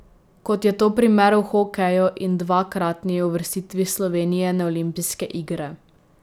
Kot je to primer v hokeju in dvakratni uvrstitvi Slovenije na olimpijske igre.